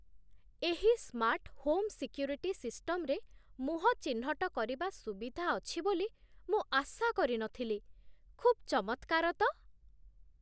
ଏହି smart home security ସିଷ୍ଟମରେ ମୁହଁ ଚିହ୍ନଟ କରିବା ସୁବିଧା ଅଛି ବୋଲି ମୁଁ ଆଶା କରିନଥିଲି। ଖୁବ୍ ଚମତ୍କାର ତ!